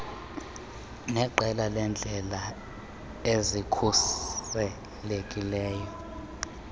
neqela leendlela ezikhuselekileyo